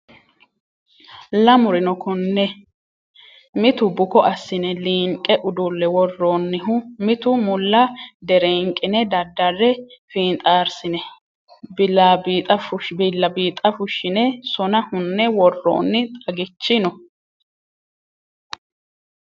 Lamuri no kone mitu bukko assine liinqe udule woroonihu mitu mulla derenqine dadare finxarsine bilabixxa fushine sona hune woroonni xaggichi no.